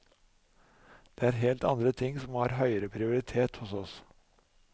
Det er helt andre ting som har høyere prioritet hos oss.